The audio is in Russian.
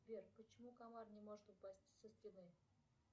сбер почему комар не может упасть со стены